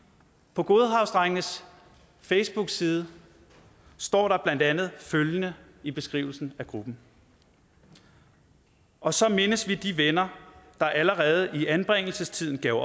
på godhavnsdrengenes facebookside står der blandt andet følgende i beskrivelsen af gruppen og så mindes vi de venner der allerede i anbringelsestiden gav